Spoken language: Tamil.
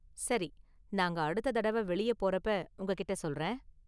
சரி, நாங்க அடுத்த தடவ வெளிய போறப்ப உங்ககிட்ட சொல்றேன்.